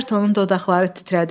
Ayrtonun dodaqları titrədi.